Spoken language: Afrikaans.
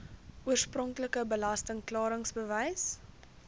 oorspronklike belasting klaringsbewys